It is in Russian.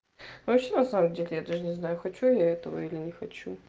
вообще на самом деле я даже не знаю хочу ли я этого или не хочу